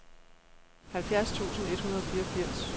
halvfjerds tusind et hundrede og fireogfirs